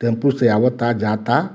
Tempo से आवता जाता।